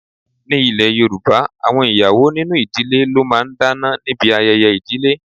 Ní ilè Yorùbá, àwọn ìyàwó nínú ìdílé ló máa ń dáná níbi ayẹyẹ ìdílé.